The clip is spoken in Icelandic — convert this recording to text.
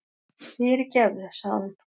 Fyrirgefðu, sagði hún.